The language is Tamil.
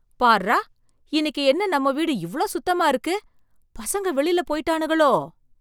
பார்றா, இன்னைக்கு என்ன நம்ம வீடு இவ்ளோ சுத்தமா இருக்கு. பசங்க வெளில போயிட்டானுகளோ?